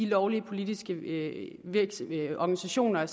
lovlige politiske organisationer